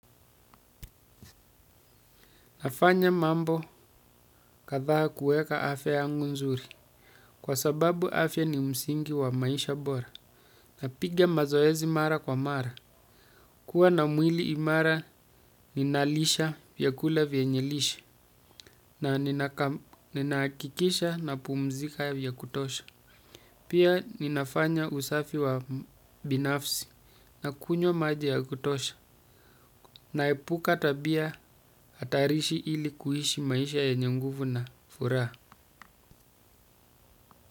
Nafanya mambo kathaha kueka afya yangu nzuri. Kwa sababu afya ni msingi wa maisha bora. Napiga mazoezi mara kwa mara. Kua na mwili imara ninalisha vyakula vyenyelisha. Na ninaakikisha na pumzika vyakutosha. Pia ninafanya usafi wa binafsi na kunyo maji ya kutosha. Naepuka tabia atarishi ili kuhishi maisha yenye nguvu na furaha.